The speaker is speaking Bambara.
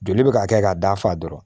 Joli bɛ ka kɛ ka d'a fa dɔrɔn